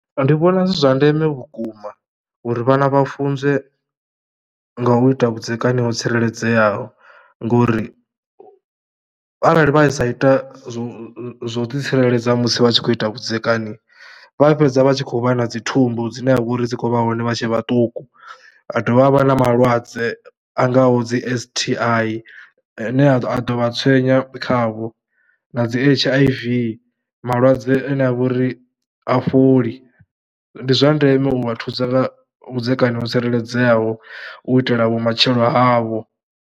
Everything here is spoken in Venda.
Ndi vhona zwi zwa ndeme vhukuma uri vhana vha funzwe nga u ita vhudzekani ho tsireledzeaho ngori arali vha sa ita zwo zwo ḓitsireledza musi vha tshi khou ita vhudzekani vha fhedza vha tshi khou vha na dzi thumbu dzine ha vha uri dzi khou vha hone vha tshe vhaṱuku. Ha dovha ha vha na malwadze a ngaho dzi S_T_I ane a ḓo vha tshwenya khavho na dzi H_I_V. Malwadze ane a vha uri ha fholi, ndi zwa ndeme u vha thusa nga vhudzekani ho tsireledzeaho u itela vhumatshelo havho.